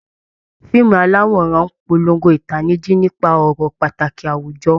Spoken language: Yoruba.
Fíìmù aláwòrán ń polongo ìtanijí nípa ọ̀rọ̀ pàtàkì àwùjọ